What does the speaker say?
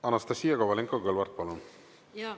Anastassia Kovalenko-Kõlvart, palun!